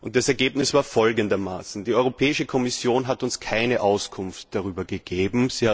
Das Ergebnis war folgendermaßen Die Europäische Kommission hat uns keine Auskunft darüber gegeben.